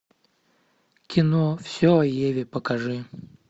кино все о еве покажи